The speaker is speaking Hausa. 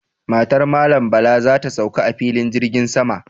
Matar Malam Bala za ta sauka a filin jirgin sama.